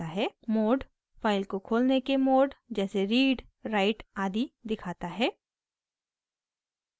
mode file को खोलने के मोड जैसे: रीड राइट आदि दिखाता है